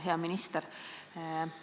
Hea minister!